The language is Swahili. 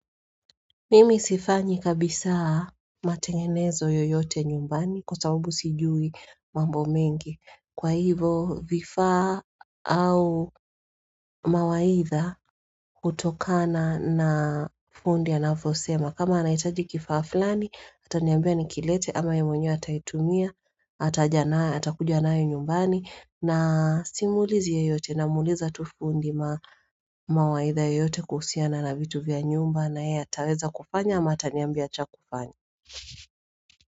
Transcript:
Mimi sifanyi kabisa matengenezo yoyote nyumbani kwa sabubu sijui mambo mengi Kwa hivo vifaa au mawaidha hutokana na fundi anavyosema kama anaitaji kifaa flani, ataniambia nikilete ama yeye mwenyewe ataitumia, atakuja nayo nyumbani na simwulizi yoyote namwuliza tu fundi mawaidha yoyote kuhusiana na vitu vya nyumba na yeye ataweza kufanya ama ataniambia cha kufanya.